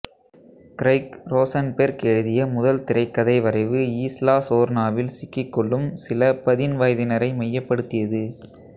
Craig Rosenberg எழுதிய முதல் திரைக்கதை வரைவு ஈஸ்லா சோர்னாவில் சிக்கிக்கொள்ளும் சில பதின்வயதினரை மையப்படுத்தியது